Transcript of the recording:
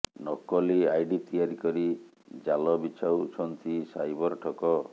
ନକଲି ଆଇଡି ତିଆରି କରି ଜାଲ ବିଛାଉଛନ୍ତି ସାଇବର ଠକ